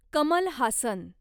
Kamal Haasan